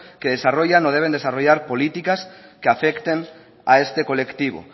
que desarrollan o deben desarrollar políticas que afecten a este colectivo